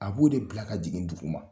A b'o de bila ka jigin dugu ma.